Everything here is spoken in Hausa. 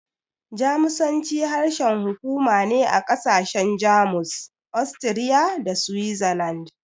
Jamusanci harshen hukuma ne na ƙasashen Jamus, Austria, da Switzerland.